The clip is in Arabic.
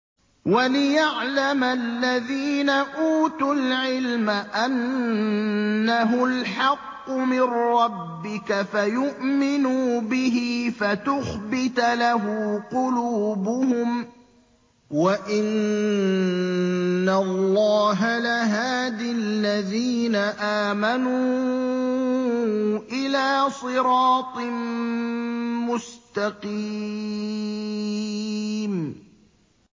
وَلِيَعْلَمَ الَّذِينَ أُوتُوا الْعِلْمَ أَنَّهُ الْحَقُّ مِن رَّبِّكَ فَيُؤْمِنُوا بِهِ فَتُخْبِتَ لَهُ قُلُوبُهُمْ ۗ وَإِنَّ اللَّهَ لَهَادِ الَّذِينَ آمَنُوا إِلَىٰ صِرَاطٍ مُّسْتَقِيمٍ